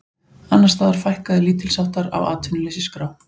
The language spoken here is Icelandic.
Annars staðar fækkaði lítilsháttar á atvinnuleysisskrá